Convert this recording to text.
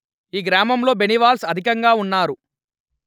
ఈ గ్రామంలో బెనివాల్స్ అధికంగా ఉన్నారు